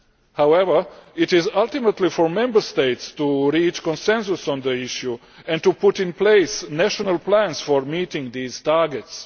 However, it is ultimately for Member States to reach consensus on the issue and to put in place national plans for meeting these targets.